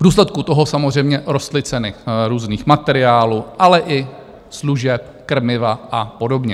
V důsledku toho samozřejmě rostly ceny různých materiálů, ale i služeb, krmiva a podobně.